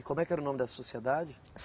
E como é que era o nome dessa Sociedade?